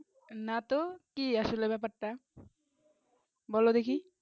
না তো কি আসলে ব্যাপার তা বোলো দেখি